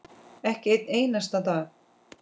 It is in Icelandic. Ekki einn einasta dag.